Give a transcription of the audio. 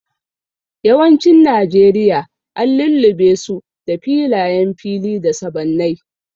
Yawancin Najeriya an lullube su da filayen fili da sabannai.